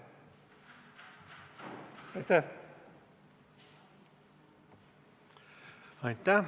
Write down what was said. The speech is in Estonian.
Aitäh!